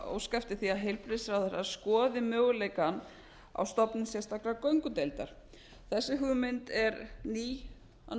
óska eftir því að heilbrigðisráðherra skoði möguleikann á stofnun sérstakrar göngudeildar þessi hugmynd er ný af